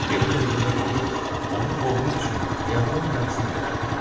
Elə dəqiqələr olurdu, onu boğmaq üçün həyatımın yarısını verərdim.